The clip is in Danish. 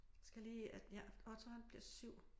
Skal lige øh ja Otto han bliver 7